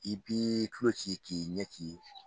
I b'i tulo ci k'i ɲɛ ci